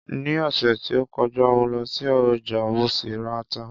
Ní ọ̀sẹ̀ tí ó kọjá mo lọ sí ọjà, mo sì ra ata